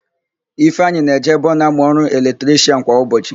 Ifeanyị na-eje ebe ọ na-amụ ọrụ eletrishịan kwa ụbọchị.